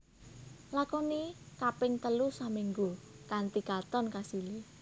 Lakoni kaping telu saminggu kanthi katon kasilé